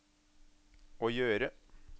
å gjøre